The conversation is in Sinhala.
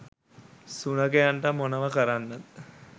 සුනඛයන්ට මොනව කරන්නද